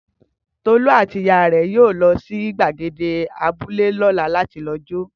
Tolu àti ìyá rẹ̀ yóò lọ sí gbàgede abúlé lọ́la láti jó